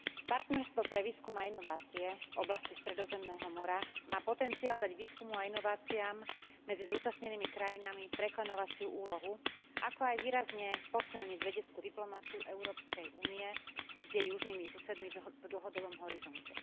Partnerstvo pre výskum a inovácie v oblasti Stredozemného mora má potenciál dať výskumu a inováciám medzi zúčastnenými krajinami preklenovaciu úlohu, ako aj výrazne posilniť vedeckú diplomaciu Európskej únie s jej južnými susedmi v dlhodobom horizonte.